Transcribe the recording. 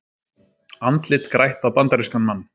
Andlit grætt á bandarískan mann